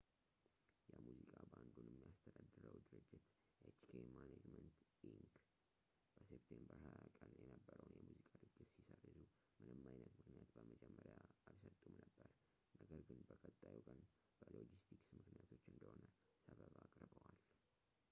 የሙዚቃ ባንዱን የሚያስተዳድረው ድርጅት፣ hk management inc.፣ በseptember 20 ቀን የነበረውን የሙዚቃ ድግስ ሲሰርዙ ምንም አይነት ምክንያት በመጀመሪያ አልሰጡም ነበር፣ ነገር ግን በቀጣዩ ቀን በሎጂስቲክስ ምክንያቶች እንደሆነ ሰበብ አቅርበዋል